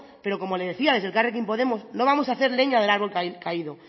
pero como le decía desde elkarrekin podemos no vamos hacer leña del árbol caído